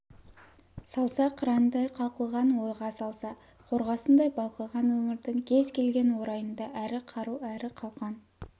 салса қырандай қалқыған ойға салса қорғасындай балқыған өмірдің кез келген орайында әрі қару әрі қалқан